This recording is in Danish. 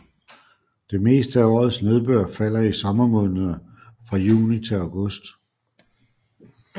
Det meste af årets nedbør falder i sommermånederne fra juni til august